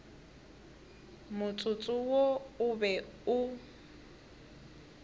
motsotso wo o be o